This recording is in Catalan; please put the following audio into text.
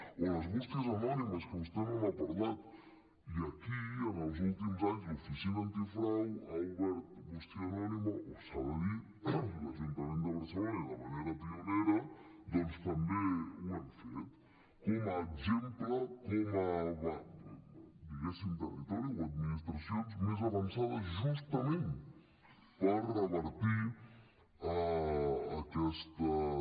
o les bústies anònimes que vostè no n’ha parlat i aquí en els últims anys l’oficina antifrau ha obert bústia anònima o s’ha de dir l’ajuntament de barcelona i de manera pionera doncs també ho hem fet com a exemple com a territori o administracions més avançades justament per revertir aquestes